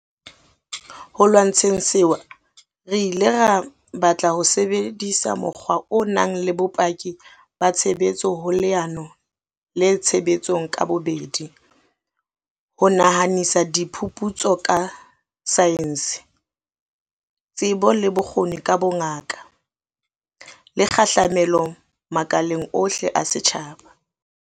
Ho lwantsheng sewa re ile ra batla ho sebedisa mokgwa o nang le bopaki ba tshebetso ho leano le tshebetsong ka bobedi, ho nahanisa diphuputso ka saense, tsebo le bokgoni ka bongaka, le kgahlamelo makaleng ohle a setjhaba.